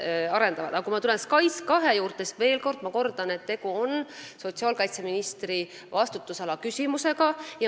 Kui tulla tagasi SKAIS2 juurde, siis ma kordan, et tegu on sotsiaalkaitseministri vastutusala küsimusega.